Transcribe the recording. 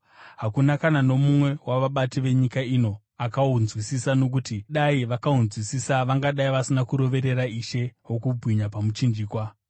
Hakuna kana nomumwe wavabati venyika ino akahunzwisisa, nokuti dai vakahunzwisisa vangadai vasina kuroverera Ishe wokubwinya pamuchinjikwa.